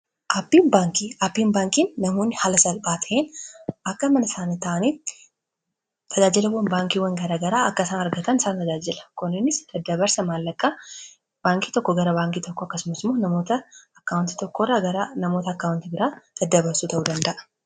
aapiin baankiin nahuuni hala sal baata'en akka mana isaanataanii tajaajilawwan baankiiwwan garaa garaa akka isaan argatan isaan tajaajila koninis daddabarsa maallakaa baankii tokko gara baankii tokko akkasumas moo akkaawanti tokorranamoota akkaawanti giraa daddabarsu ta'uu danda'a